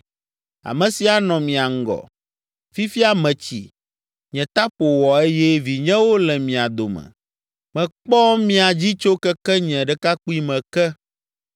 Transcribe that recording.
Ame si anɔ mia ŋgɔ. Fifia metsi, nye ta ƒo wɔ eye vinyewo le mia dome; mekpɔ mia dzi tso keke nye ɖekakpuime ke.